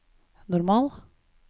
normal